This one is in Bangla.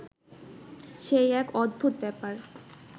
সেই এক অদ্ভুত ব্যাপার